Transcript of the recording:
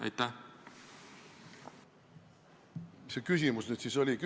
Mis see küsimus nüüd siis oli?